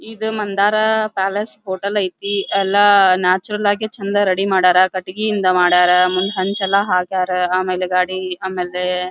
ಇದು Mandara palace hotel ಐತಿ ಎಲ್ಲ ನ್ಯಾಚುರಲ್ ಆಗಿ ಚಂದ ರೆಡಿ ಮಾಡ್ಯಾರ ಕಟ್ಟಿಗೆಯಿಂದ ಮಾಡ್ಯಾರ ಮುಂದ್ ಹಂಚ್ ಎಲ್ಲ ಹಾಕ್ಯಾರ ಆಮೇಲೆ ಗಾಡಿ ಆಮೇಲೆ --